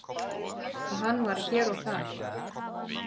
og hann var hér og þar.